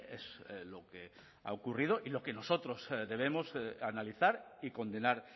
es lo que ha ocurrido y lo que nosotros debemos analizar y condenar